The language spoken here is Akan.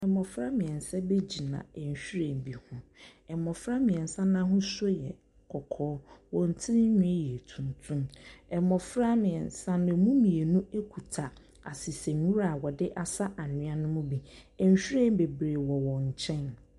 Mmɔfra mmeɛnsa bi gyina nhwiren bi ho. Mmɔfra mmeɛnsa no ahosuo yɛ kɔkɔɔ. Wɔn tirinwi yɛ tuntum. Mmɔfra mmeɛnsa no, ɛmu mmienu kita asesanwura a wɔde asa anwea no mu bi. Nhwiren bebree wɔ wɔn nkyɛn.